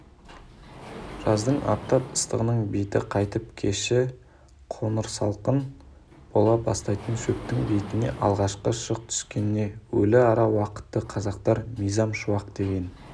жаздың аптап ыстығының беті қайтып кеші қоңырсалқын бола бастайтын шөптің бетіне алғашқы шық түскен өліара уақытты қазақтар мизам шуақ деген